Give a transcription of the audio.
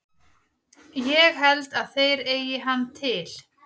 Ég held að þeir eigi hann til.